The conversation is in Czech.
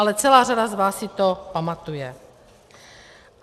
Ale celá řada z vás si to pamatuje.